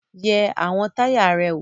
Yẹ àwọn táyà rẹ wò!